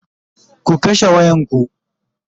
ku kashe wayan ku!